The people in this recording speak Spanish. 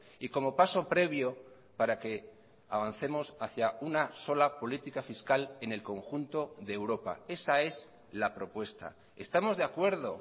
y como paso previo para que avancemos hacia una sola política fiscal en el conjunto de europa esa es la propuesta estamos de acuerdo